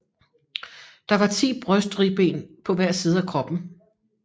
Der var ti brystribben på hver side af kroppen